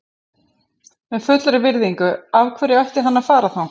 Með fullri virðingu, af hverju ætti hann að fara þangað?